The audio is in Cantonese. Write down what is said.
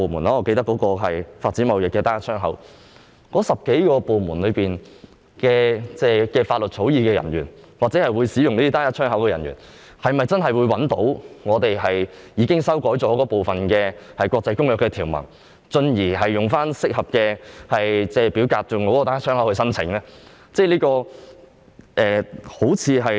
我記得在發展貿易單一窗口方面正是如此，而那眾多部門的法律草擬人員或使用單一窗口的人員，是否真的能找到經修改的國際公約條文，進而使用適當表格提出單一窗口申請呢？